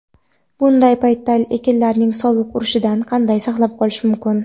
bunday paytda ekinlarni sovuq urishidan qanday saqlab qolish mumkin?.